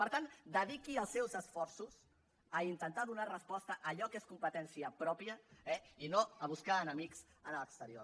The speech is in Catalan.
per tant dediqui els seus esforços a intentar donar resposta a allò que és competència pròpia eh i no a buscar enemics en l’exterior